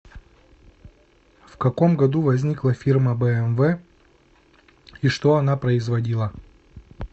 в каком году возникла фирма бмв и что она производила